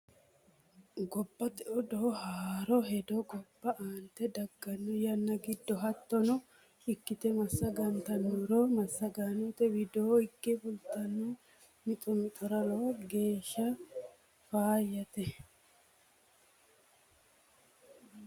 Gobbate odoo haroo hedo gobba aante daggano yanna giddo hiitto ikkite masagantanoro massagaanote widoo higge fulitanno mixo mixira lowo geeshsha faayate